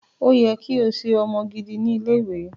O yẹ ki o ṣe ọmọ gidi ni ile-iwe.